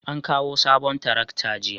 an kawo sabon tarakta jiya